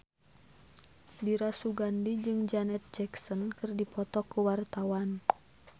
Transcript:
Dira Sugandi jeung Janet Jackson keur dipoto ku wartawan